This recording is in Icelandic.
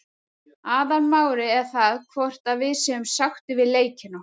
Aðalmálið er það hvort að við séum sáttir við leikinn okkar.